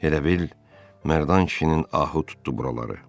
Elə bil Mərdan kişinin ahı tutdu buraları.